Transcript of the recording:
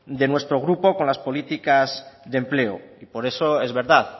de nuestro grupo con las políticas de empleo y por eso es verdad